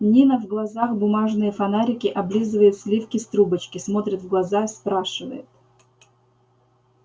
нина в глазах бумажные фонарики облизывает сливки с трубочки смотрит в глаза спрашивает